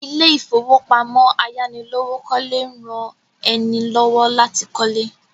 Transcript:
Ilé ìfowópamọ́ ayánilówókọ́lé ń rán ẹni lọ́wọ́ láti kọ́lé